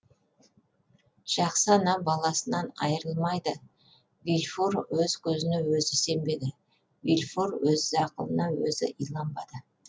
жақсы ана баласынан айырылмайды вильфор өз көзіне өзі сенбеді вильфор өз ақылына өзі иланбады